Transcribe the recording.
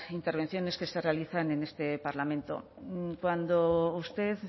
intervenciones que se realizan en este parlamento cuando usted